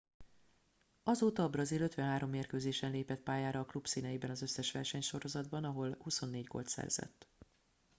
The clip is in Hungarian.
azóta a brazil 53 mérkőzésen lépett pályára a klub színeiben az összes versenysorozatban ahol 24 gólt szerzett